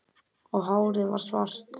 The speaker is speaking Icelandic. Og hárið varð svart